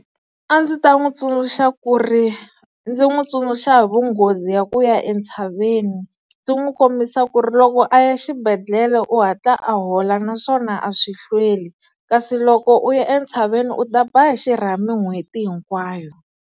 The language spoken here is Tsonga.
A ndzi ta n'wi tsundzuxa ku ri, ndzi n'wi tsundzuxa hi vunghozi ya ku ya entshaveni. Ndzi n'wi kombisa ku ri loko a ya xibedhlele u hatla a hola naswona a swi hlweli, kasi loko u ya entshaveni u ta ba xirhami n'hweti hinkwayo.